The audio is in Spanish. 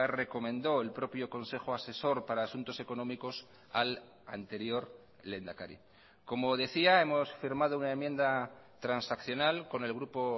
recomendó el propio consejo asesor para asuntos económicos al anterior lehendakari como decía hemos firmado una enmienda transaccional con el grupo